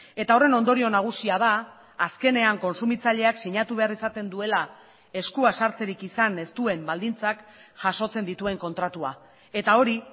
eta horren ondorio nagusia da azkenean kontsumitzaileak sinatu behar izaten duela eskua sartzerik izan ez duen baldintzak jasotzen dituen kontratua eta hori